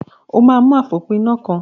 O máa mú àfòpiná kan.